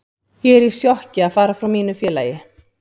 Ég er í sjokki að fara frá mínu félagi.